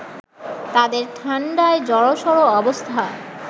তাঁদের ঠাণ্ডায় জড়সড় অবস্থা